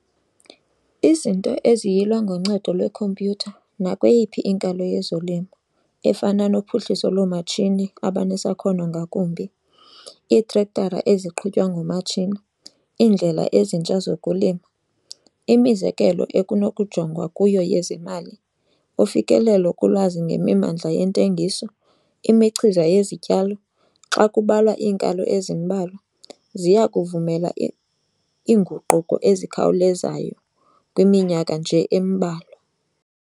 Izinto eziyilwa ngoncedo lwekhompyutha nakweyiphi inkalo yezolimo efana nophuhliso loomatshini abanesakhono ngakumbi, iitrektara eziqhutywa ngomatshini, iindlela ezintsha zokulima, imizekelo ekunokujongwa kuyo yezemali, ufikelelo kulwazi ngemimandla yentengiso, imichiza yezityalo, xa kubalwa iinkalo ezimbalwa, ziya kuvumela iinguquko ezikhawulezayo kwiminyaka nje embalwa.